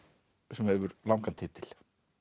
sem hefur langan titil